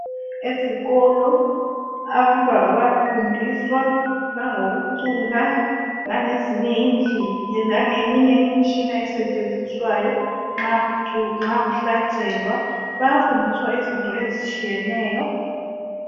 Ezikolo, abantwana bayafundiswa langokucula langezinye indlela langeminye imitshina esetshenziswayo nxa kuculwa nxa kuhlatshelwa, bayafundiswa izinto ezitshiyeneyo.